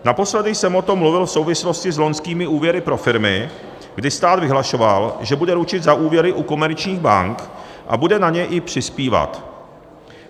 Naposledy jsem o tom mluvil v souvislosti s loňskými úvěry pro firmy, kdy stát vyhlašoval, že bude ručit za úvěry u komerčních bank a bude na ně i přispívat.